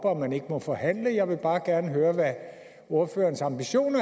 og at man ikke må forhandle jeg vil bare gerne høre hvad ordførerens ambitioner